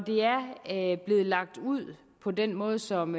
det er blevet lagt ud på den måde som